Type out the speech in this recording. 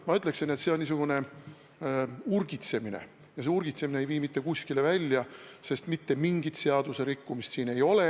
Ma ütleksin, et see on niisugune urgitsemine ja see urgitsemine ei vii mitte kuskile välja, sest mitte mingit seadusrikkumist siin ei ole.